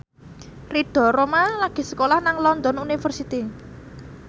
Ridho Roma lagi sekolah nang London University